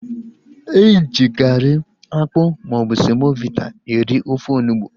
Eji garị, akpụ maọbụ semovita eri ofe onugbu